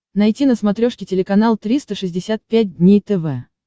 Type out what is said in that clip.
найти на смотрешке телеканал триста шестьдесят пять дней тв